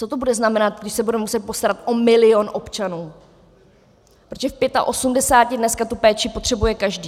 Co to bude znamenat, když se budeme muset postarat o milion občanů, protože v 85 dneska tu péči potřebuje každý.